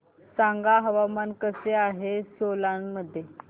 सांगा हवामान कसे आहे सोलान मध्ये